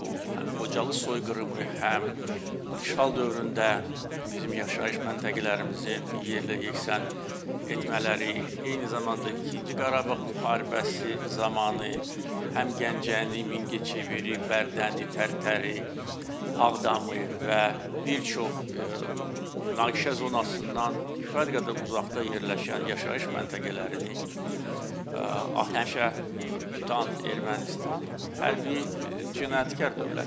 Bu həm Xocalı soyqırımı, həm işğal dövründə bizim yaşayış məntəqələrimizin yerlə yeksən etmələri, eyni zamanda ikinci Qarabağ müharibəsi zamanı həm Gəncəni, Mingəçeviri, Bərdəni, Tərtəri, Ağdamı və bir çox münaqişə zonasından kifayət qədər uzaqda yerləşən yaşayış məntəqələrini həmşə tutan Ermənistan hərbi cinayətkar dövlətdir.